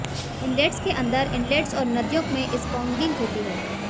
inlets के अंदर inlets और नदियों में स्पॉन्गिंग होती है